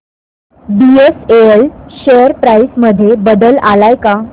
BSL share price मध्ये बदल आलाय का